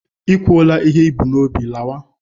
I kwuolarịị ihe i bu n'obi, lawa!